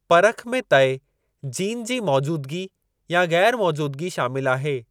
परख में तइ जीन जी मौजूदगी या ग़ैरु मौजूदगी शामिलु आहे।